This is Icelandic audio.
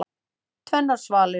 Tvennar svalir.